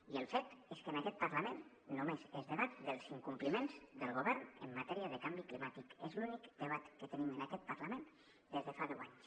i el fet és que en aquest parlament només es debat sobre els incompliments del govern en matèria de canvi climàtic és l’únic debat que tenim en aquest parlament des de fa deu anys